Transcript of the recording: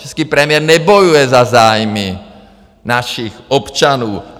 Český premiér nebojuje za zájmy našich občanů.